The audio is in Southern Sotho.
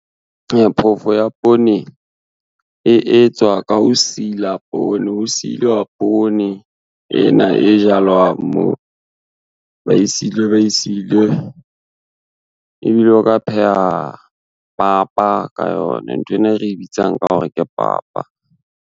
Phofo ya poone, e etswa ka ho sila poone, ho silwa poone ena e jalwang mo ba e silwe ba e silwe, ebile o ka pheha papa ka yona nthwena e re bitsang ka hore ke papa.